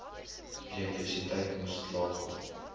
elektrisiteit moes klaarkom